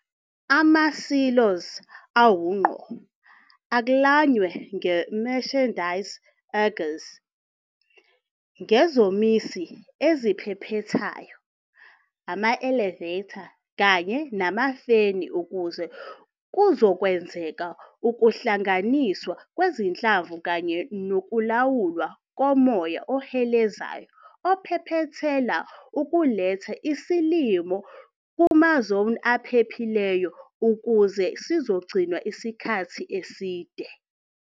Ama-silos awungqo aklanywe nge-mechanised augers, ngezomisi eziphephethayo, ama-elevator kanye namafeni ukuze kuzokwenzeka ukuhlanganiswa kwezinhlamvu kanye nokulawulwa komoya ohelezayo ophephethela ukuletha isilimo kumazoni aphephile ukuze uzogcinwa isikhathi eside.